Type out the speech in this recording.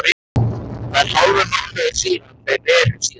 Það er hálfur mánuður síðan þeir reru síðast.